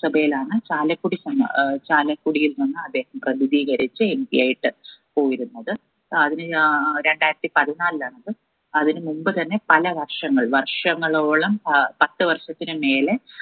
സഭയിലാണ് ചാകലക്കുടി പൻ ഏർ ചാലക്കുടിയിൽ നിന്ന് അദ്ദേഹം പ്രതിദീകരിച്ച് MP ആയിട്ട് പോയിരുന്നത് അതിന് ഏർ രണ്ടയിരത്തി പതിനാലിലാണത് അതിന് മുമ്പ് തന്നെ പല വർഷങ്ങൾ വര്ഷങ്ങളോളം ഏർ പത്തു വർഷത്തിന് മേലെ